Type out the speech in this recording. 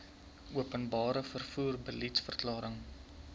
openbare vervoer beliedsverklaring